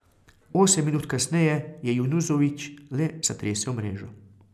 Osem minut kasneje je Junuzović le zatresel mrežo.